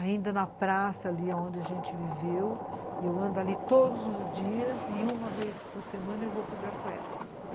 ainda na praça ali onde a gente viveu, eu ando ali todos os dias e uma vez por semana eu vou para Ibirapuera.